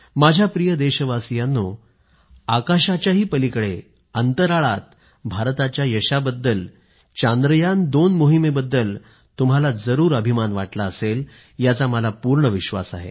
माझ्या प्रिय देशवासियांनो आकाशाच्याही पलीकडे अंतराळात भारताच्या यशाबद्दल चांद्रयान २ मोहिमेबद्दल तुम्हाला जरूर अभिमान वाटला असेल याचा मला पूर्ण विश्वास आहे